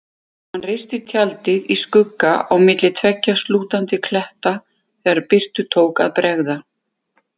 Hann reisti tjaldið í skugga á milli tveggja slútandi kletta þegar birtu tók að bregða.